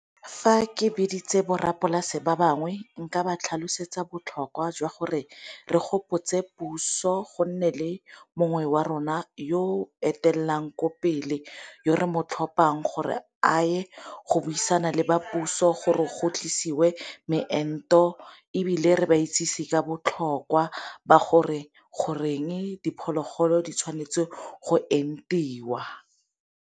Fa ke biditse borrapolasi ba bangwe nka ba tlhalosetsa botlhokwa jwa gore re gopotse puso go nne le mongwe wa rona yo etelwang ko pele yo re mo tlhompang gore a ye go buisana le ba puso gore go tlisiwe moento, ebile re ba itsisi ka botlhokwa ba gore goreng diphologolo di tshwanetse go entiwa.